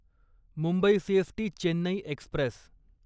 Mumbai CST Chennai Express